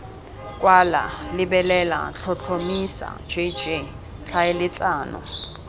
kwala lebelela tlhotlhomisa jj tlhaeletsano